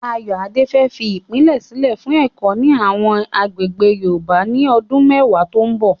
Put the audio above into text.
Ayoade fẹ́ fi ìpìlẹ̀ sílẹ̀ fún ẹ̀kọ́ ní àwọn agbègbè Yorùbá ní ọdún mẹ́wàá tó ń bọ̀.